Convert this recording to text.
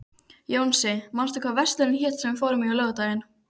Jónsi, manstu hvað verslunin hét sem við fórum í á laugardaginn?